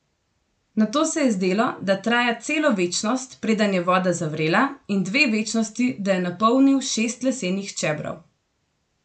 Nato se je zdelo, da traja celo večnost, preden je voda zavrela, in dve večnosti, da je napolnil šest lesenih čebrov.